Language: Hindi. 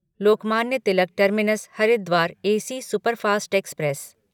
Lokmanya Tilak terminus Haridwar AC superfast express